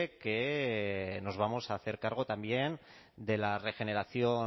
que nos vamos a hacer cargo también de la regeneración